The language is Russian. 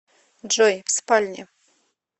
джой в спальне